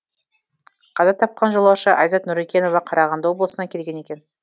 қаза тапқан жолаушы айзат нүрекенова қарағанды облысынан келген екен